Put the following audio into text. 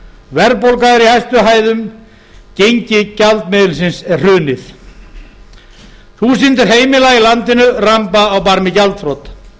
verðbólga er í hæstu hæðum gengi gjaldmiðilsins er hrunið þúsundir heimila í landinu ramba á barmi gjaldþrots